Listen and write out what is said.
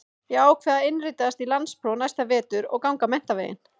Ég ákvað að innritast í landspróf næsta vetur og ganga menntaveginn.